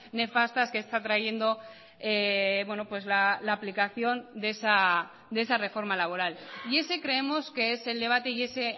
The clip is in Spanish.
nefastas que está trayendo la aplicación de esa reforma laboral y ese creemos que es el debate y ese